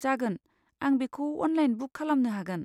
जागोन, आं बेखौ अनलाइन बुक खालामनो हागोन।